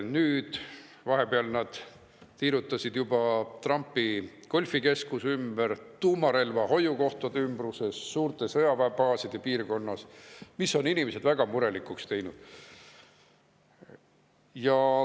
Nüüd vahepeal nad tiirutasid juba Trumpi golfikeskuse ümber, tuumarelva hoiukohtade ümbruses, suurte sõjaväebaaside piirkonnas ja see on inimesed väga murelikuks teinud.